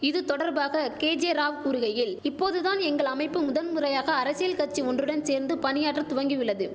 இது தொடர்பாக கேஜே ராவ் கூறுகையில் இப்போது தான் எங்கள் அமைப்பு முதன் முறையாக அரசியல் கட்சி ஒன்றுடன் சேர்ந்து பணியாற்ற துவங்கியுள்ளது